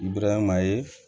Bubarama ye